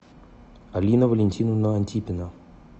алина валентиновна антипина